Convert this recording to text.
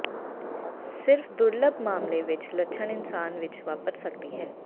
ਸਿਰਫ ਦੁਰਲੱਭ ਮਾਮਲੇ ਵਿੱਚ ਲੱਛਣ ਇਨਸਾਨ ਵਿੱਚ ਵਾਪਰ ਸਕਦੀ ਹੈ